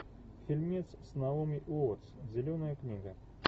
фильмец с наоми уоттс зеленая книга